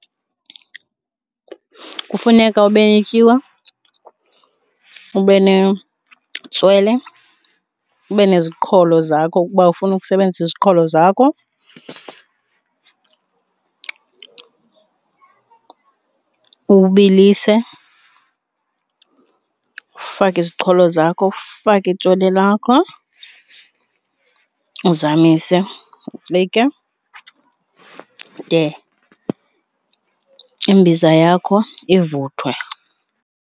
Kufuneka ube netyiwa, ube netswele, ube neziqholo zakho ukuba ufuna ukusebenzisa iziqholo zakho. Uwubilise ufake iziqholo zakho, ufake itswele lakho uzamise. Ucike de imbiza yakho ivuthwe.